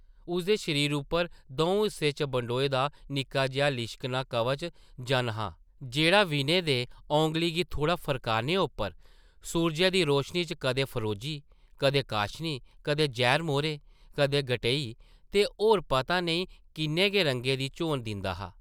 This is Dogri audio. उसदे शरीर उप्पर दʼऊं हिस्सें च बंडोए दा निक्का जेहा लिश्कना कवच-जन हा जेह्ड़ा विनय दे, औंगली गी थोह्ड़ा फरकाने उप्पर सूरजै दी रोशनी च कदें फरोजी, कदें काशनी, कदें जैह्र-मौह्रे, कदें गटेई ते होर पता नेईं किन्ने गै रंगें दी झोन दिंदा हा ।